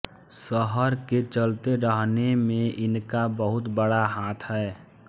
शहर के चलते रहने में इनका बहुत बड़ा हाथ है